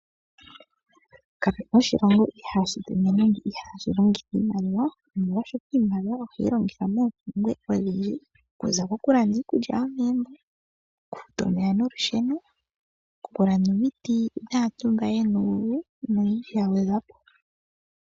Kapu na oshilongo ihaashi longitha iimaliwa, molwashoka iimaliwa ohayi longithwa moompumbwe odhinji okuza kokulanda iikulya yomegumbo, okufuta omeya nolusheno, okulanda omiti dhaantu mba ye na uuvu noyindji ya gwedhwa po.